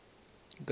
gavaza